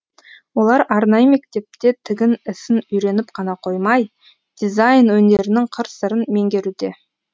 олар арнайы мектепте тігін ісін үйреніп қана қоймай дизайн өнерінің қыр сырын меңгеруде